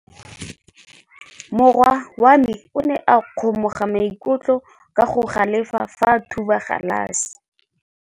Morwa wa me o ne a kgomoga maikutlo ka go galefa fa a thuba galase.